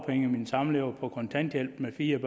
firs